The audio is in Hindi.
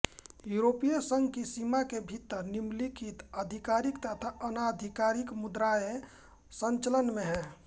यूरोपीय संघ की सीमा के भीतर निम्नलिखित आधिकारिक तथा अनाधिकारिक मुद्राएँ संचलन में हैं